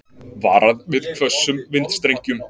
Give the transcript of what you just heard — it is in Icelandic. Varað við hvössum vindstrengjum